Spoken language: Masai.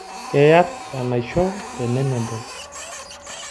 Keyar enaisho tenemedol.